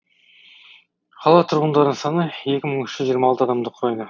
қала тұрғындарының саны екі мың үш жүз жиырма алты адамды құрайды